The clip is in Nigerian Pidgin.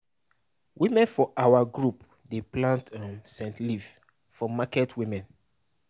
women for our group dey plant um scent leave for market women